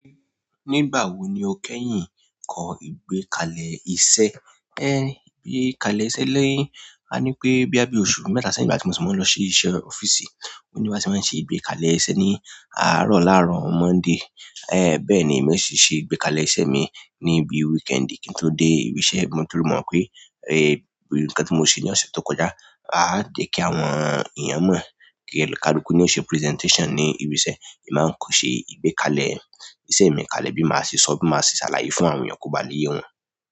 Nígbà wo ni o kẹ́yìn kọ ìgbékalẹ̀ iṣẹ́? Ìgbékalẹ̀ iṣẹ́ lẹ́yìn, ka ní pé boya bí oṣù mẹ́ta sẹ́yìn nigbá ti mo ṣi mọ nlọ ṣi iṣẹ́ ọ́fíìsì, o ní bi ti máa ṣe ìgbékalẹ̀ iṣẹ́ ní àárọ̀ làárọ̀ Monday. Bẹ́ẹ̀ ni emi ò sì ṣe ìgbékalẹ̀ iṣẹ́ mi ní bi weekend kí n tó dé ibi iṣẹ́. Mo ti mọ̀ pé, n kan tí mo ṣe ní ọ̀sẹ̀ tó kọjá, a jẹ̀ kí àwọn èèyàn mọ̀. Onikaluku ní ó ṣe presentation ní ibi iṣẹ́, èmi máa ń kọ ṣe ìgbékalẹ̀ iṣẹ́ mikalẹ bi ma ṣe sọ bi ma ṣe ṣalaye fún àwọn ènìyàn ki o le ye wọn.